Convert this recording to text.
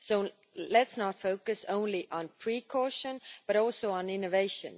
So let us focus not only on precaution but also on innovation.